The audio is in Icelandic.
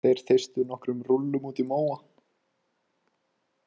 Þeir þeystu nokkrum rúllum útí móa.